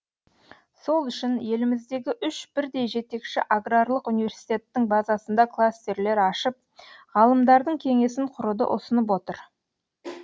сол үшін еліміздегі үш бірдей жетекші аграрлық университеттің базасында кластерлер ашып ғалымдардың кеңесін құруды ұсынып отыр